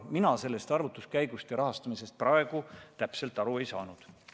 Mina sellest arvutuskäigust ja rahastamisest praegu täpselt aru ei saanud.